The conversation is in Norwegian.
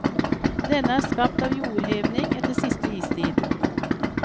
Denne er skapt av jordhevning etter siste istid.